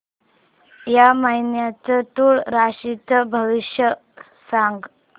या महिन्याचं तूळ राशीचं भविष्य सांग